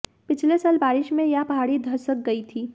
पिछले साल बारिश में यह पहाड़ी धंसक गई थी